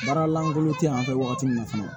Baara lankolon te yan fɛ wagati min na fɔlɔ